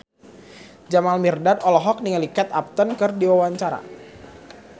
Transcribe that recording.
Jamal Mirdad olohok ningali Kate Upton keur diwawancara